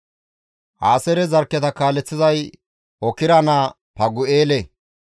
Aaseere zarkketa kaaleththizay Okra naa Fagu7eele;